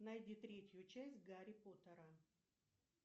найди третью часть гарри поттера